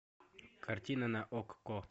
картина на окко